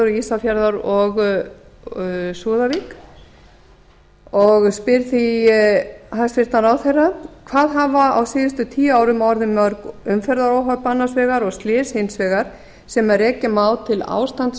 ísafjarðar og súðavík og spyr því hæstvirtan ráðherra hvað hafa á síðastliðnum tíu árum orðið mörg umferðaróhöpp annars vegar og slys hins vegar sem rekja má til ástands